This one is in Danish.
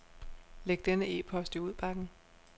Læg denne e-post i udbakken.